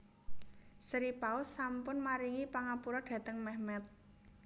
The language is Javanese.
Sri Paus sampun maringi pangapura dhateng Mehmet